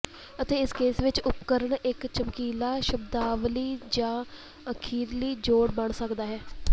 ਅਤੇ ਇਸ ਕੇਸ ਵਿੱਚ ਉਪਕਰਣ ਇੱਕ ਚਮਕੀਲਾ ਸ਼ਬਦਾਵਲੀ ਜਾਂ ਅਖੀਰਲੀ ਜੋੜ ਬਣ ਸਕਦਾ ਹੈ